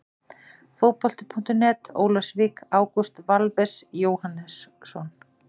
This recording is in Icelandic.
Fótbolti.net, Ólafsvík- Ágúst Valves Jóhannsson.